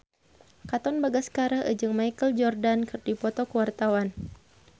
Katon Bagaskara jeung Michael Jordan keur dipoto ku wartawan